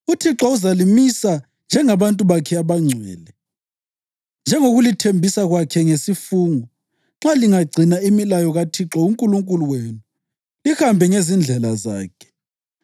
UThixo uzalimisa njengabantu bakhe abangcwele, njengokulithembisa kwakhe ngesifungo, nxa lingagcina imilayo kaThixo uNkulunkulu wenu lihambe ngezindlela zakhe.